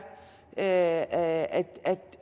at at